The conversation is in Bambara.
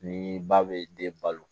Ni ba bɛ den balo